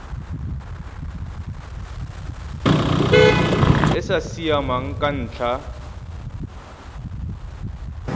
e sa siamang ka ntlha